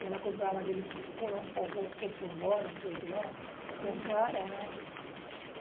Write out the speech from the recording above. E ela comprava aquele coproló, não sei o que é, que é cara, né?